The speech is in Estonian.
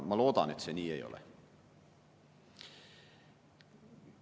Ma loodan, et see nii ei ole.